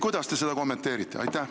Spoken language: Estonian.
Kuidas te seda kommenteerite?